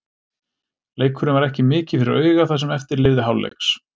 Leikurinn var ekki mikið fyrir augað það sem eftir lifði hálfleiks.